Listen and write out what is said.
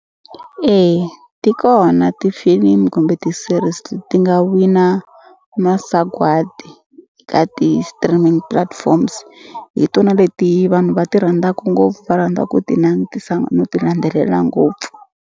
Eya ti kona tifilimi kumbe ti-series ti nga wina masagwadi ka ti-streaming platforms hi tona leti vanhu va ti rhandzaku ngopfu va rhandza ku ti langutisa no ti landzelela ngopfu.